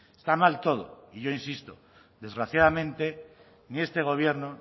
está mal todo y yo insisto desgraciadamente ni este gobierno